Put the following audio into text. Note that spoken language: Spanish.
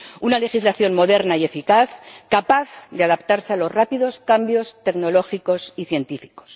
Una legislación moderna y eficaz, capaz de adaptarse a los rápidos cambios tecnológicos y científicos.